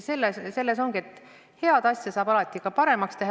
Selles põhjus ongi, et head asja saab alati veel paremaks teha.